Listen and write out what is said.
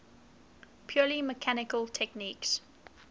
purely mechanical techniques